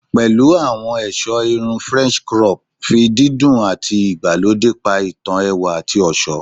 Pẹ̀lẹ́ àwọn ẹ̀sọ́ irun french crop, fi dídùn àti ìgbàlódé pa ìtàn ẹwà àti ọ̀ṣọ́